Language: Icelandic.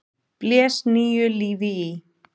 blés nýju lífi í.